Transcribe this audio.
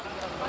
Nə qədər?